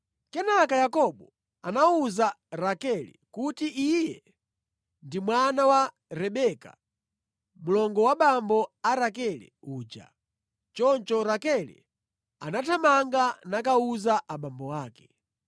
Kenaka Yakobo anawuza Rakele kuti iye ndi mwana wa Rebeka, mlongo wa abambo a Rakele uja. Choncho Rakele anathamanga nakawuza abambo ake.